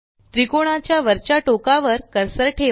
त्रिकोणाच्या वरच्या टोकावर कर्सर ठेवा